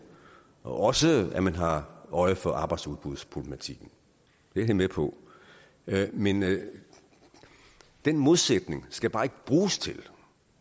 og også at man har øje for arbejdsudbudsproblematikken det er vi med på men den modsætning skal bare ikke bruges til